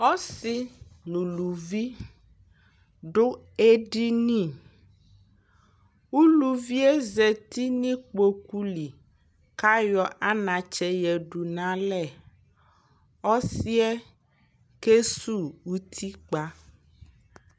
ɔsii nʋ ʋlʋvi dʋ ɛdini ,ʋlʋviɛ zati nʋ ikpɔkʋ li kʋ ayɔ anatsɛ yɛdʋ nʋ alɛ, ɔsiiɛ kɛsʋ ʋtikpa